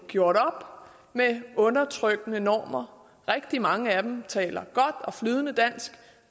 gjort op med undertrykkende normer rigtig mange af dem taler godt og flydende dansk